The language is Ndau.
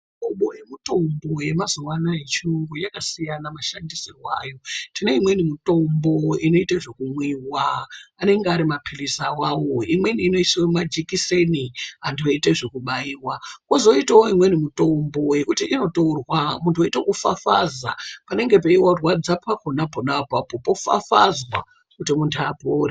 Mihlobo yemitombo yemazuwa anaya yechiyungu yakasiyana mashandisirwe ayo ,tineimweni mitombo inoite zvekumwiwa anenge arimapilizi awawo imweni inoiswe mumajekiseni anhu eitwe zvekubaiwa kwozitawo imweni mitombo yekuti inotorwa munhu oitezvekufafaza panenge peirwadza pa kona pona apapo pofafazwa kuti muntu apore.